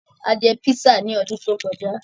A jẹ písà ní ọdún tó kọjá.